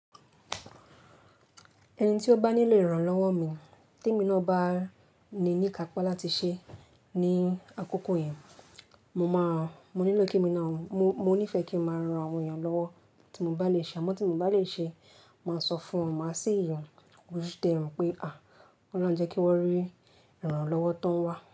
Ẹni tí ó bá nílò ìrànlọ́wọ́ mi, te mi náà bá ní ní kápa láti ṣé ní àkókò yẹn, mo máa, mo nílò kí èmi náà, mo, mo nífẹ̀ẹ́ kí n máa ran àwọn èèyàn lọ́wọ́ tí mo bá le ṣe, àmọ́ tí mo bá lè ṣe, màá sọ fún wọn, màá ṣi yàn, ó tẹ ìrùn pé à, wọ́n máa ń jẹ́ kí wọ́n rí ìrànlọ́wọ́ tán wá.